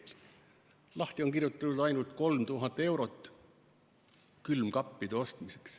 Selles on lahti kirjutatud ainult 3000 eurot külmkappide ostmiseks.